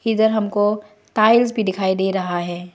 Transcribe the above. इधर हमको टाइल्स भी दिखाई दे रहा है।